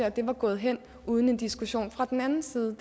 at det var gået hen uden en diskussion fra den anden side